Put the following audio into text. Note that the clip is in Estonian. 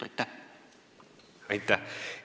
Aitäh!